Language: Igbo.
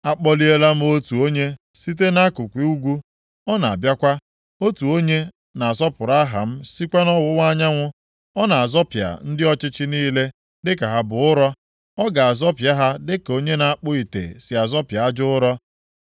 “Akpọliela m otu onye site nʼakụkụ ugwu, ọ na-abịakwa. Otu onye na-asọpụrụ aha m sikwa nʼọwụwa anyanwụ. Ọ na-azọpịa ndị ọchịchị niile dịka ha bụ ụrọ, ọ ga-azọpịa ha dịka onye na-akpụ ite si azọpịa aja ụrọ.